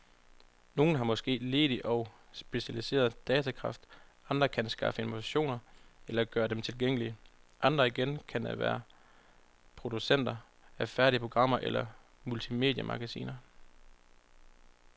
Nogen har måske ledig og specialiseret datakraft, andre kan skaffe informationer eller gøre dem tilgængelige, andre igen kan være producenter af færdige programmer eller multimediemagasiner.